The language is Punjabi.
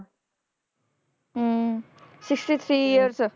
hmm sixty-three years